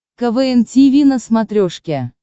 квн тиви на смотрешке